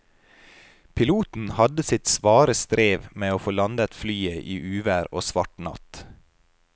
Piloten hadde sitt svare strev med å få landet flyet i uvær og svart natt.